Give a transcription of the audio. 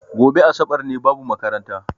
Goɓe asaɓar ne, babu maƙaranta.